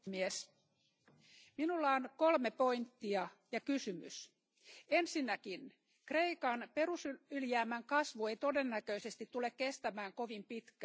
Arvoisa puhemies, minulla on kolme pointtia ja kysymys. Ensinnäkin Kreikan perusylijäämän kasvu ei todennäköisesti tule kestämään kovin pitkään.